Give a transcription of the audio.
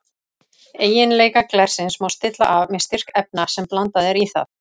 Eiginleika glersins má stilla af með styrk efna sem blandað er í það.